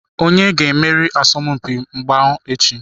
Onye ga-emeri asọmpi mgba echi?